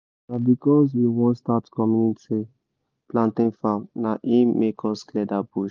na because we won start community plantian farm na hin make us clear that bush